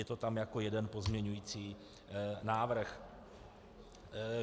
Je to tam jako jeden pozměňovací návrh.